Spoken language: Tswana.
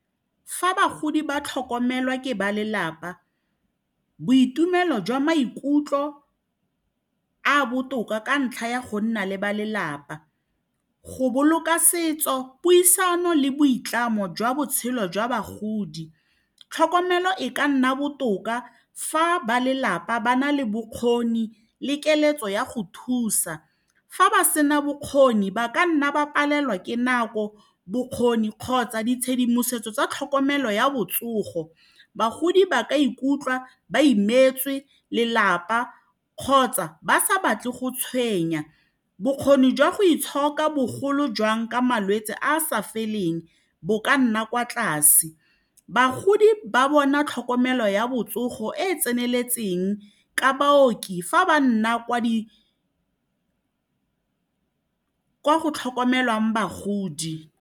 Fa bagodi ba tlhokomelwa ke ba lelapa boitumelo jwa maikutlo a a botoka ka ntlha ya go nna le ba lelapa go boloka setso puisano le boitlamo jwa botshelo jwa bagodi tlhokomelo e ka nna botoka fa ba lelapa ba na le bokgoni le keletso ya go thusa fa ba sena bokgoni ba ka nna ba palelwa ke nako bokgoni kgotsa ditshedimosetso tsa tlhokomelo ya botsogo bagodi ba ka ikutlwa ba imetswe lelapa kgotsa ba sa batle go tshwenya bokgoni jwa go itshoka bogolo jwang ka malwetse a a sa feleng bo ka nna kwa tlase bagodi ba bona tlhokomelo ya botsogo e e tseneletseng ka baoki fa ba nna kwa di kwa go tlhokomelwang bagodi.